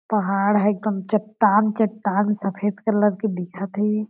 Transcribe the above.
पहाड़ ह एकदम चट्टान-चट्टान सफ़ेद कलर के दिखत हे।